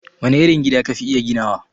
Wane irin gida ka fi iya ginawa?